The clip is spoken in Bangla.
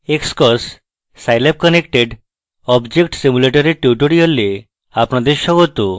xcos: scilab connected object simulator এর tutorial আপনাদের স্বাগত